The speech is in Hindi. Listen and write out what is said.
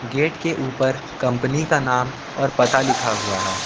गेट के ऊपर कंपनी का नाम और पता लिखा हुआ है।